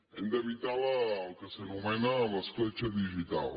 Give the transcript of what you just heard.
hem d’evitar el que s’anomena l’escletxa digital